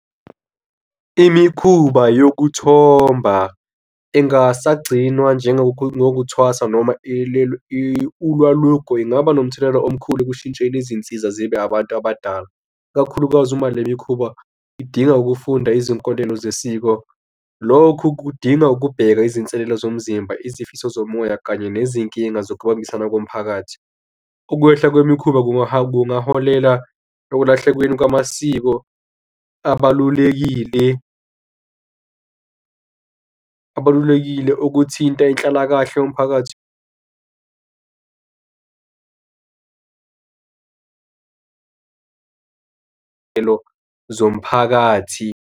Imikhuba yokuthomba engasagcinwa njengokuthwasa noma ulwalugwe lungaba nomthelela omkhulu ekushintsheni izinsiza zibe abantu abadala, ikakhulukazi uma le mikhuba kudinga ukufunda izinkolelo zesiko. Lokhu kudinga ukubheka izinselelo zomzimba, izifiso zomoya kanye nezinkinga zokubambisana komphakathi. Ukwehla kwemikhuba kungaholela ekulahlekweni kwamasiko abalulekile, abalulekile ukuthinta inhlalakahle yomphakathi zomphakathi.